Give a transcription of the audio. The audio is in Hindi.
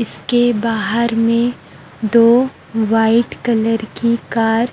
इसके बाहर में दो व्हाइट कलर की कार